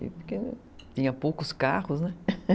Porque eu tinha poucos carros, né?